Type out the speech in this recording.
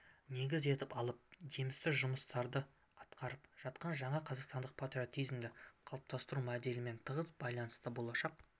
негіз етіп алып жемісті жұмыстар атқарып жатқан жаңа қазақстандық патриотизмді қалыптастыру моделімен тығыз байланысты болашақ